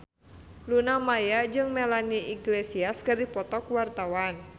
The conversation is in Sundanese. Luna Maya jeung Melanie Iglesias keur dipoto ku wartawan